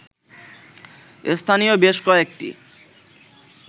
স্থানীয় বেশ কয়েকটি